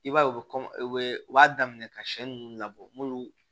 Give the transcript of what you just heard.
I b'a ye u bɛ u bɛ u b'a daminɛ ka sɛ nunnu labɔ n'olu